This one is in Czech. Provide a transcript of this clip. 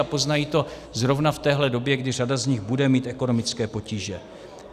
A poznají to zrovna v téhle době, kdy řada z nich bude mít ekonomické potíže.